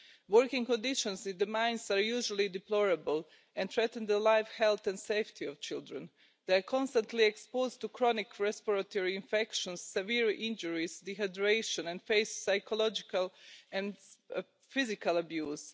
Working conditions in the mines are usually deplorable and threaten the life, health and safety of children. They are constantly exposed to chronic respiratory infections, severe injuries and dehydration and face psychological and physical abuse.